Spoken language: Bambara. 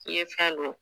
I ye fɛn don